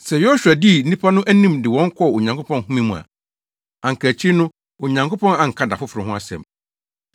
Sɛ Yosua dii nnipa no anim de wɔn kɔɔ Onyankopɔn home mu a, anka akyiri no Onyankopɔn anka da foforo ho asɛm.